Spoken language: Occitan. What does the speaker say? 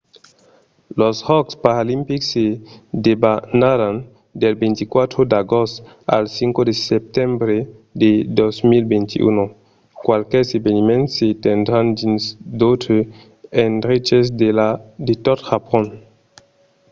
los jòcs paralimpics se debanaràn del 24 d'agost al 5 de setembre de 2021. qualques eveniments se tendràn dins d'autres endreches de tot japon